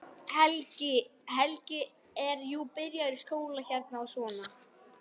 Helgi er jú byrjaður í skóla hérna og svona.